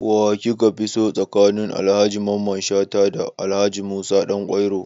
Wa kika fi so tsakanin Alhaji Mamman Shata da Alhaji Musa Ɗanƙwairo?